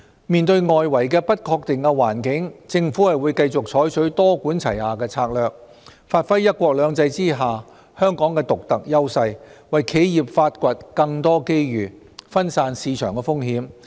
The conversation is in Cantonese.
面對外圍的不確定環境，政府會繼續採取多管齊下的策略，發揮"一國兩制"下香港的獨特優勢，為企業發掘更多機遇，分散市場風險。